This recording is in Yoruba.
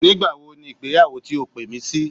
Nígbàwo ni ìgbéyàwó ti o pè mí sí?